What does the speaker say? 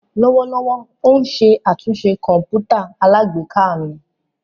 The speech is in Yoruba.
Lọwọlọwọ o n ṣe atunṣe kọǹpútà alágbèéká mi.